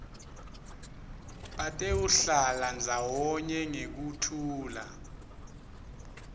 batewuhlala ndzawonye ngekuthula